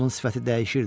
Onun sifəti dəyişirdi.